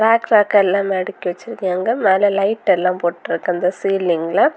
Rock ராக்கா எல்லாமே அடுக்கி வெச்சிருக்காங்க மேல லைட் எல்லாம் போட்டு இருக்க அந்த சீலிங்குல .